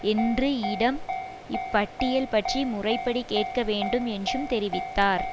என்றும் யிடம் இப்பட்டியல் பற்றி முறைப்படி கேட்கவேண்டும் என்றும் தெரிவித்தார்